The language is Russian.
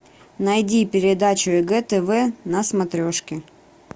найди передачу егэ тв на смотрешке